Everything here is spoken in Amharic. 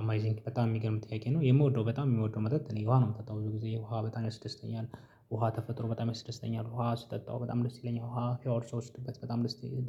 አመዚንግ፣ በጣም የሚገርም ጥያቄ ነው። የምወደው በጣም የምወደው መጠጥ እኔ ውሃ ነው የምጠጣው። ብዙ ጊዜ ውሃ በጣም ያስደስተኛል። ውሃ ተፈጥሮ በጣም ያስደስተኛል። ውሃ ስጠጣው በጣም ደስ ይለኛል። ውሃ ሻውር ስወስድበት በጣም